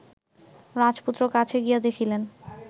রাজপুত্র কাছে গিয়া দেখিলেন